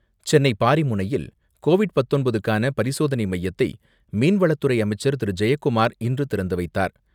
சென்னை பாரிமுனையில் கோவிட் பத்தொன்பதுக்கான பரிசோதனை மையத்தை மீன்வளத்துறை அமைச்சர் திரு ஜெயக்குமர் இன்று திறந்து வைத்தார்.